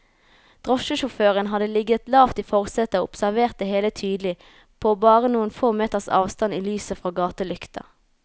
Drosjesjåføren hadde ligget lavt i forsetet og observert det hele tydelig, på bare noen få meters avstand i lyset fra gatelykta.